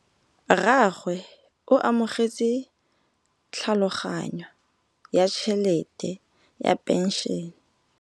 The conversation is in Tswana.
Rragwe o amogetse tlhatlhaganyô ya tšhelête ya phenšene.